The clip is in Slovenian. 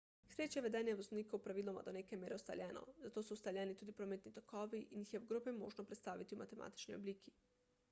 k sreči je vedenje voznikov praviloma do neke mere ustaljeno zato so ustaljeni tudi prometni tokovi in jih je v grobem možno predstaviti v matematični obliki